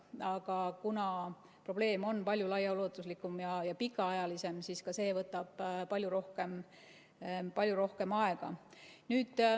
Aga kuna probleem on palju laiaulatuslikum ja pikaajalisem, siis see võtab palju rohkem aega.